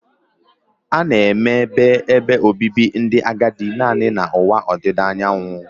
A na-eme bụ ebe obibi ndị agadi naanị na ụwa ọdịda anyanwụ